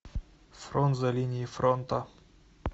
фронт за линией фронта